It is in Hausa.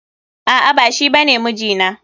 A'a, ba shi bane mijina.